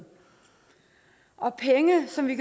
og penge som vi